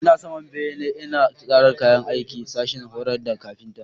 Ina saman bene ina tsara kayan aikin sashin horar da kafinta.